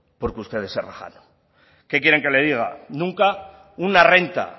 porque ustedes se rajaron qué quieren que le diga nunca una renta